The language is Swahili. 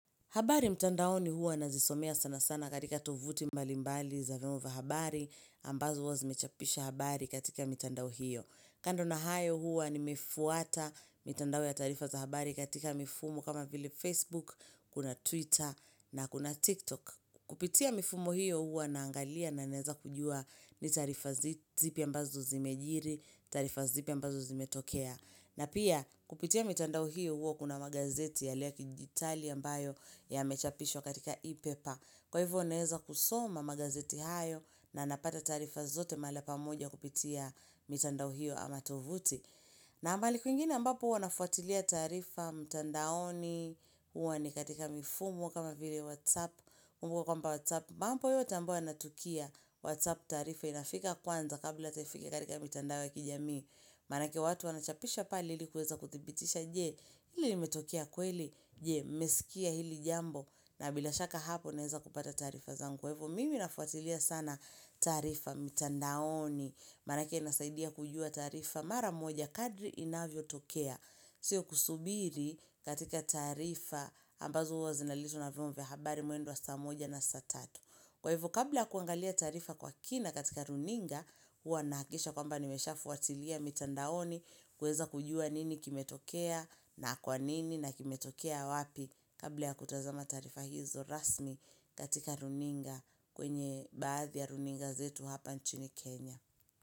Habari mtandaoni huwa nazisomea sana sana katika tovuti mbalimbali za nova habari ambazo huwa zimechapisha habari katika mitandao hiyo. Kando na hayo huwa nimefuata mitandao ya taarifa za habari katika mifumo kama vile Facebook, kuna Twitter na kuna TikTok. Kupitia mifumo hiyo huwa naangalia na naeza kujua ni taarifa zipi ambazo zimejiri, taarifa zipi ambazo zimetokea. Na pia kupitia mitandao hiyo huwa kuna magazeti yale yakidijitali ambayo yamechapishwo katika e-paper. Kwa hivyo naeza kusoma magazeti hayo na napata taarifa zote mahala pamoja kupitia mitandao hiyo ama tovuti. Na mahali kuingine ambapo wanafuatilia taarifa mtandaoni huwa ni katika mifumo kama vile whatsapp. Kumbuka kwamba whatsapp mambo yote ambayo yanatukia whatsapp taarifa inafika kwanza kabla hataifike katika mitandao ya kijamii. Manake watu wanachapisha pale ilikuweza kuthibitisha je, ili imetokea kweli, je, mmesikia hili jambo na bila shaka hapo naeza kupata taarifa zangu. Kwa hivyo, mimi nafuatilia sana taarifa mitandaoni. Manake nasaidia kujua taarifa mara moja kadri inavyotokea. Sio kusubiri katika taarifa ambazo huwa zinaletwo na vyombo vya habari mwendo wa saa moja na saa tatu. Kwa hivo kabla kuangalia taarifa kwa kina katika runinga huwa nahakikisha kwamba nimeshafuatilia mitandaoni kuweza kujua nini kimetokea na kwa nini na kimetokea wapi kabla ya kutazama taarifa hizo rasmi katika runinga kwenye baadhi ya runinga zetu hapa nchini Kenya.